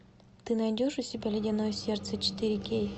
ты найдешь у себя ледяное сердце четыре кей